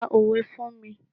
Pa òwe fún mi.